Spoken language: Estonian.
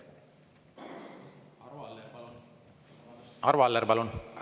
Arvo Aller, palun!